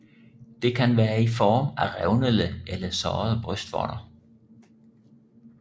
Det kan være i form af revnede eller sårede brystvorter